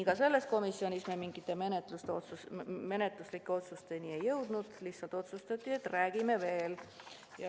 Ka sellel komisjoni istungil me mingite menetluslike otsusteni ei jõudnud, lihtsalt otsustati, et räägime veel.